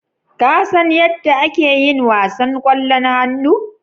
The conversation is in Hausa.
Kasan yadda ake yin wasan ƙwallon hannu?